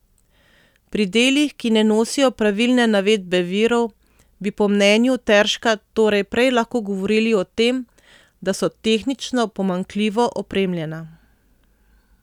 Pri delih, ki ne nosijo pravilne navedbe virov, bi po mnenju Terška torej prej lahko govorili o tem, da so tehnično pomanjkljivo opremljena.